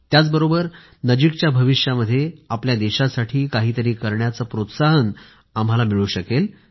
त्याचबरोबर नजिकच्या भविष्यामध्ये आपल्या देशासाठी काहीतरी करण्याचं प्रोत्साहनही आम्हाला मिळू शकेल